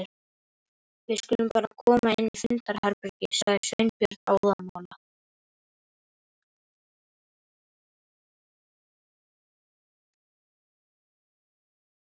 Við skulum bara koma inn í fundarherbergi sagði Sveinbjörn óðamála.